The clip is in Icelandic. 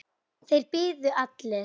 Þeir biðu allir.